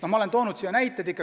Ma olen selle kohta näiteid toonud.